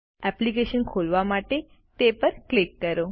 application ખોલવા માટે તે પર ક્લિક કરો